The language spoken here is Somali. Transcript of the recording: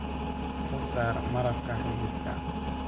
Ka saar malabka xididka.